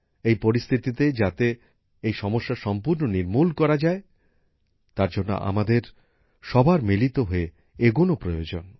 এই পরিস্থিতিতে যাতে এই সমস্যা সম্পূর্ণ নির্মূল করা যায় তার জন্য আমাদের সবার মিলিত হয়ে এগোন প্রয়োজন